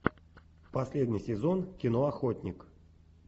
последний сезон кино охотник